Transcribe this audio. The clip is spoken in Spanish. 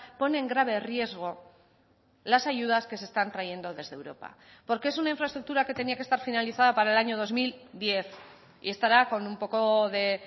pone en grave riesgo las ayudas que se están trayendo desde europa porque es una infraestructura que tenía que estar finalizada para el año dos mil diez y estará con un poco de